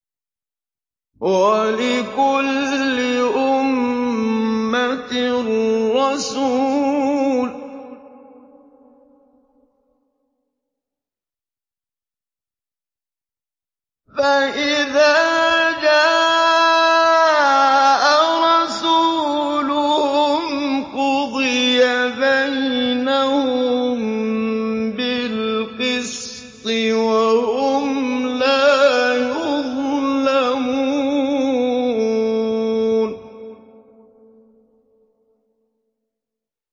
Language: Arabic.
وَلِكُلِّ أُمَّةٍ رَّسُولٌ ۖ فَإِذَا جَاءَ رَسُولُهُمْ قُضِيَ بَيْنَهُم بِالْقِسْطِ وَهُمْ لَا يُظْلَمُونَ